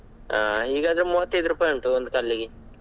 ಹಾ ಈಗ ಆದ್ರೆ ಮೂವತ್ತೈದು ರೂಪಾಯಿ ಉಂಟು ಕಲ್ಲಿಗೆ.